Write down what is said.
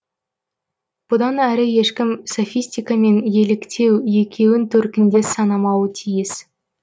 бұдан әрі ешкім софистика мен еліктеу екеуін төркіндес санамауы тиіс